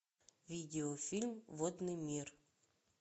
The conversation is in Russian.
видеофильм водный мир